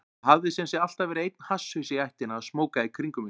Það hafði sem sé alltaf verið einn hasshaus í ættinni að smóka í kringum mig.